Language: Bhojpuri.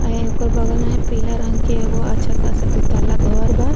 ए ओकर बगल में पीला रंग के एगो अच्छा खासा दू तल्ला घर बा।